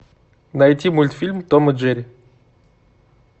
найти мультфильм том и джерри